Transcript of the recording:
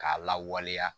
K'a lawaleya